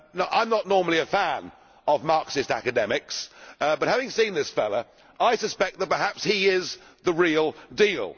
I am not normally a fan of Marxist academics, but having seen this fellow, I suspect that perhaps he is the real deal.